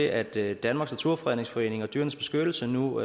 at det at danmarks naturfredningsforening og dyrenes beskyttelse nu